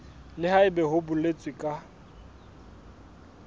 le haebe ho boletswe ka